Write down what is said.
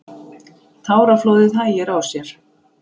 Táraflóðið hægir á sér.